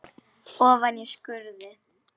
Ofan í skurði.